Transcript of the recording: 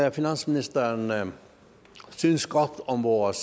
at finansministeren synes godt om vores